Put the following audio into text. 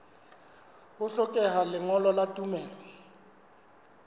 ho hlokeha lengolo la tumello